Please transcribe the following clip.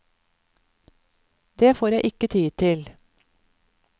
Det får jeg ikke tid til.